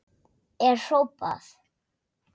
er hrópað.